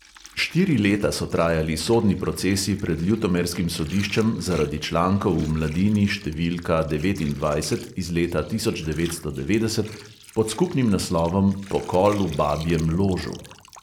Štiri leta so trajali sodni procesi pred ljutomerskim sodiščem zaradi člankov v mladini številka devetindvajset iz leta tisoč devetsto devetdeset pod skupnim naslovom pokol v babjem ložu.